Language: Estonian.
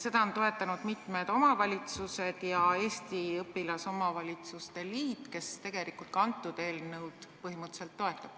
Seda on toetanud mitmed omavalitsused ja Eesti õpilasomavalitsuste liit, kes ka eelnõu põhimõtteliselt toetab.